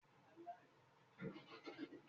Gálà ńlá jẹ́ ìpanu rírún